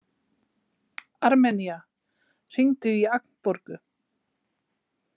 Armenía, hringdu í Agnborgu.